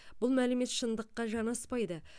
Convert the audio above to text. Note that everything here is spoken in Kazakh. бұл мәлімет шындыққа жанаспайды